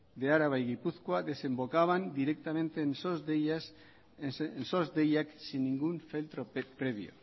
de araba y gipuzkoa desembocaban directamente en sos deiak sin ningún filtro previo